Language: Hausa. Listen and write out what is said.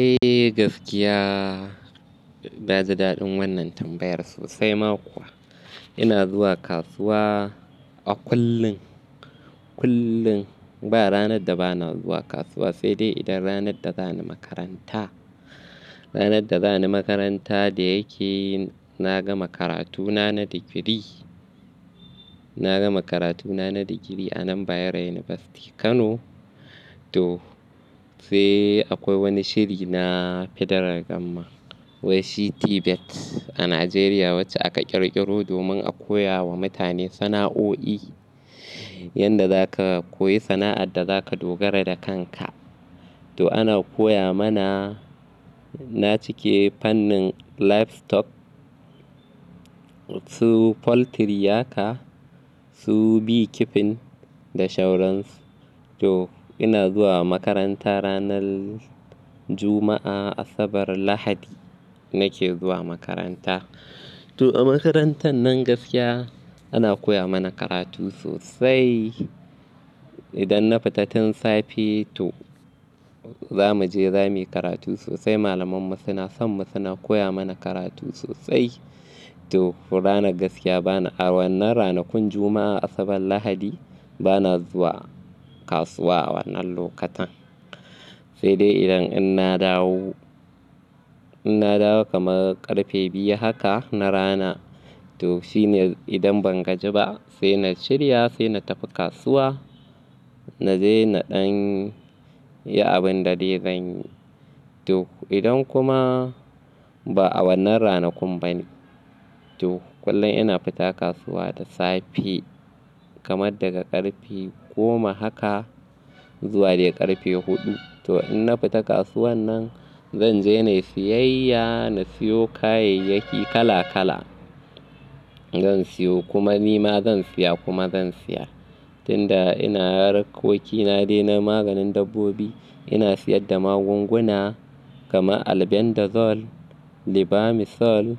Eh gaskiya na ji daɗin wannan tambayar sosai ma kuwa. Ina zuwa kasuwa a kullum, kullum ba ranar da ba na zuwa kasuwa sai dai idan ranar da za ni makaranta. Ranar da za ni makaranta da yake na gama karatu na na digiri, na gama karatu na na digiri a nan Bayero University Kano. To sai akwai wani shiri na Federal gamman wai shi TVET a Najeriya wacce aka ƙirƙiro domin a koya wa mutane sana'o'i yanda za ka koyi sana'ar da za ka dogara da kanka. To ana koya mana, na cike fannin Livestock su Poultry haka su bee keeping da shauransu. To ina zuwa makaranta ranar Juma'a, Asabar, Lahadi nake zuwa makaranta. To a makarantar nan gaskiya ana koya mana karatu sosai. Idan na fita tun safe to za mu je za mu yi karatu sosai malaman mu suna son mu suna koya mana karatu sosai. To ranar gaskiya bana, a wannan ranakun Juma'a, Asabar, Lahadi bana zuwa kasuwa wannan lokutan. Sai dai idan in na dawo, in na dawo kamar ƙarfe biyu haka na rana to shine idan ban gaji ba sai na shirya, sai na tafi kasuwa, na je na ɗan yi abin da dai zan yi. To idan kuma ba a wannan ranakun ba ne, to kullum ina fita kasuwa da safe kamar daga ƙarfe goma haka zuwa dai ƙarfe huɗu. To in na fita kasuwan nan zan je na yi siyayya, na siyo kayayyaki kala kala. Zan siyo kuma nima zan siya kuma zan siyar. Tunda ina harkoki na dai na maganin dabbobi, ina siyar da magunguna kamar Albendazole, Lebamisole,